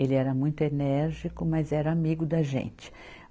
Ele era muito enérgico, mas era amigo da gente.